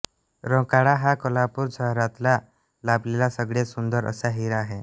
रंकाळा हा कोल्हापूर शहराला लाभलेला सगळ्यात सुंदर असा हिरा आहे